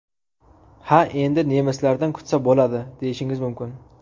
Ha endi nemislardan kutsa bo‘ladi, deyishingiz mumkin.